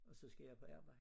Og så skal jeg på arbejde